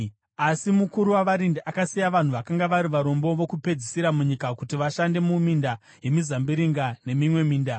Asi mukuru wavarindi akasiya vanhu vakanga vari varombo vokupedzisira munyika kuti vashande muminda yemizambiringa nemimwe minda.